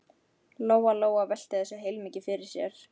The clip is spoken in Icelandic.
Lóa-Lóa velti þessu heilmikið fyrir sér.